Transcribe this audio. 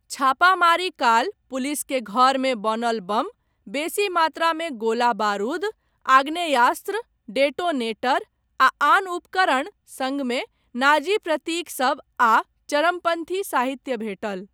छापामारी काल, पुलिसकेँ घरमे बनल बम, बेसी मात्रामे गोला बारूद, आग्नेयास्त्र, डेटोनेटर आ आन उपकरण, सङ्गमे नाजी प्रतीकसब आ चरमपन्थी साहित्य भेटल।